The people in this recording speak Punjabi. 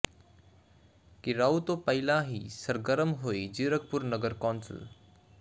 ਿਘਰਾਓ ਤੋਂ ਪਹਿਲਾਂ ਹੀ ਸਰਗਰਮ ਹੋਈ ਜ਼ੀਰਕਪੁਰ ਨਗਰ ਕੌਂਸਲ